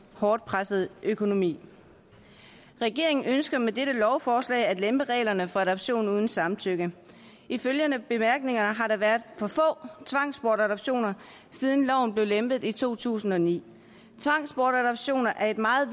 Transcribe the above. hårdt pressede økonomi regeringen ønsker med dette lovforslag at lempe reglerne for adoption uden samtykke ifølge bemærkningerne har der været for få tvangsbortadoptioner siden loven blev lempet i to tusind og ni tvangsbortadoptioner er et meget